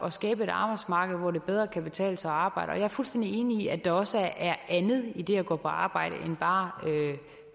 at skabe et arbejdsmarked hvor det bedre kan betale sig at arbejde jeg er fuldstændig enig i at der også er andet i det at gå på arbejde end bare